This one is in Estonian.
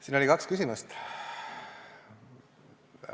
Siin oli kaks küsimust.